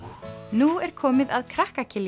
nú er komið að krakka